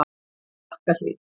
Stakkahlíð